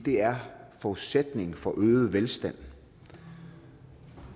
er forudsætningen for øget velstand